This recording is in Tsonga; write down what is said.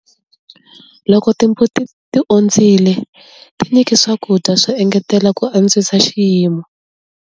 Loko timbuti ti ondzile, tinyiki swakudya swo engetela ku antswisa xiyimo.